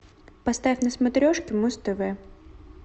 поставь на смотрешке муз тв